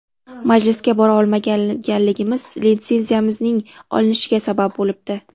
Majlisga bora olmaganligimiz litsenziyamizning olinishiga sabab bo‘libdi.